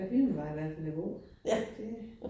Ja, filmen var i hvert fald god. Det